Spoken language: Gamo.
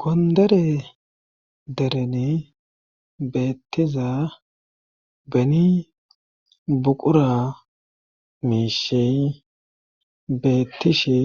gondere derene beettiza beni buqura miishi bettishe